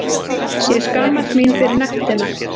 Ég skammast mín fyrir nektina.